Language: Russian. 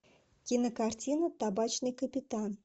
кинокартина табачный капитан